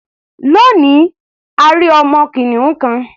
Lónìí, a rí ọmọ kìnìún kan.